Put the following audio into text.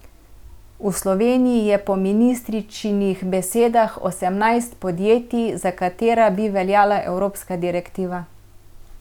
V Sloveniji je po ministričinih besedah osemnajst podjetij, za katera bi veljala evropska direktiva.